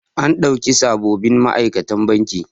An ɗauki sabobin ma'aikatan banki.